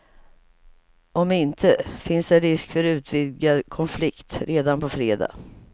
Om inte, finns det risk för utvidgad konflikt redan på fredag.